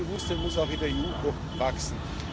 Dieses Bewusstsein muss auch in der EU noch wachsen.